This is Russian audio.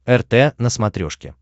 рт на смотрешке